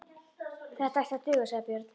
Þetta ætti að duga, sagði Björn.